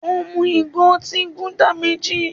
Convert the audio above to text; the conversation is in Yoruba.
Ó mú ìgò otí Gúdà méjì.